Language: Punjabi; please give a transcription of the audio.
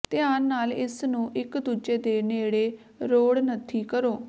ਧਿਆਨ ਨਾਲ ਇਸ ਨੂੰ ਇਕ ਦੂਜੇ ਦੇ ਨੇੜੇ ਰੋੜ ਨੱਥੀ ਕਰੋ